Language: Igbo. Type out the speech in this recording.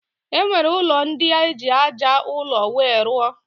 E nwere ụlọ ndị e ji aja ụlọ wee rụọ.